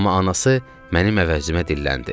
Amma anası mənim əvəzimə dilləndi.